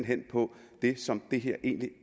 hen på det som det her egentlig